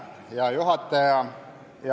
Hea juhataja!